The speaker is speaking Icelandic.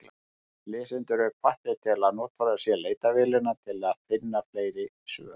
Lesendur eru hvattir til að notfæra sér leitarvélina til að finna fleiri svör.